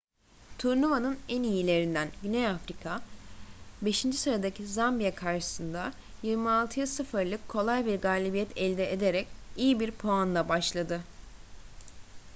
turnuvanın en iyilerinden güney afrika 5. sıradaki zambiya karşısında 26-0’lık kolay bir galibiyet elde ederek iyi bir puanla başladı